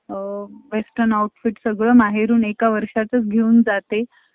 western outfit सगळं माहेरून एका वर्षाच घेऊन जाते.